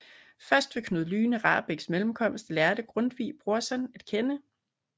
Først ved Knud Lyne Rahbeks mellemkomst lærte Grundtvig Brorson at kende